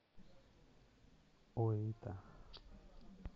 оита